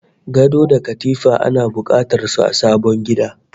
Gado da katifa ana bukatar su a sabon gida